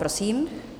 Prosím.